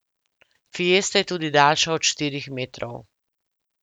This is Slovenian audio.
Fiesta je tudi daljša od štirih metrov.